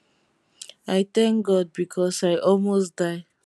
i thank god becos i almost die